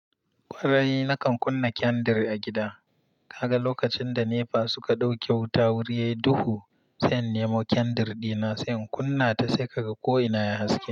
Kwarai nakan kunna kyandir a gida. Kaga lokacin da NEPA suka ɗauke wuta wuri ya yi duhu, sai in nemo kyandir dina, sai in kunna ta sai ka ga ko ina yayi haske.